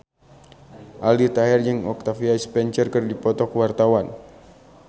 Aldi Taher jeung Octavia Spencer keur dipoto ku wartawan